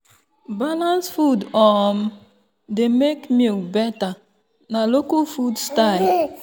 balanced food um dey make milk better na local food style.